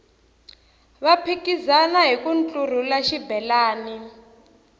va phikizana hiku ntlurhula xibelani